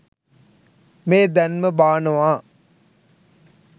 මේ දැන්ම බානවා.